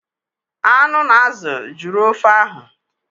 Anụ na azụ jụrụ ofe ahụ